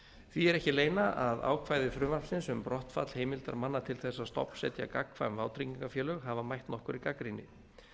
því er ekki að leyna að ákvæði frumvarpsins um brottfall heimildar manna til þess að stofnsetja gagnkvæm vátryggingafélög hafa mætt nokkurri gagnrýni